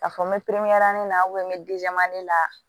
K'a fɔ n bɛ pepera ne la n bɛ la